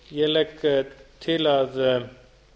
ég legg til að